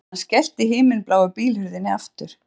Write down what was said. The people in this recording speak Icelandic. Hann skellti himinbláu bílhurðinni aftur